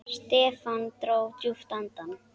Stefán dró djúpt andann.